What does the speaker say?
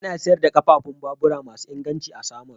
Ana sayar da ƙafafun babur masu inganci a Samaru.